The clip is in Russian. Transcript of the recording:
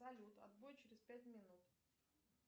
салют отбой через пять минут